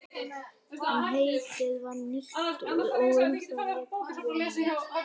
En heitið var nýtt og um það lék ljómi.